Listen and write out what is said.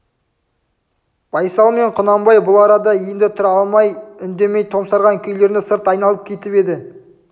байсал мен құнанбай бұл арада енді тұра алмай үндемей томсарған күйлерінде сырт айналып кетіп еді